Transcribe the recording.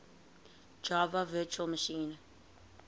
java virtual machine